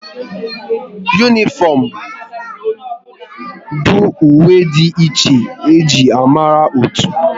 Unịfomu bụ uwe dị iche e ji amara otu